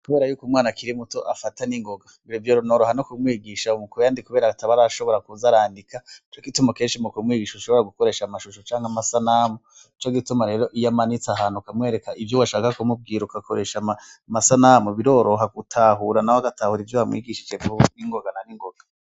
Kubera yuko umwana kiri muto afatan'ingoga mbero ivyoronoroha no kumwigisha bumukweyandi, kubera arataba ariashobora kuzarandika co gituma ukeshi mu kumwigisha ushobora gukoresha amashusho canke amasanamu co gituma rero iyoamanitsi ahanuka amwereka ivyo uwe ashaka kumubwira uka akoresha masanamu biroroha gutahura na ho agatahura ivyo bamwigishijemo 'ingoga na r'ingoga.